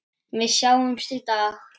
Við sjáumst í dag.